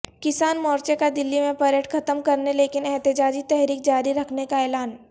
کسان مورچہ کا دلی میں پریڈ ختم کرنے لیکن احتجاجی تحریک جاری رکھنے کا اعلان